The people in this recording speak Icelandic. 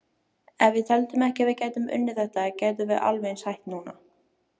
Ef við teldum ekki að við gætum unnið þetta gætum við alveg eins hætt núna.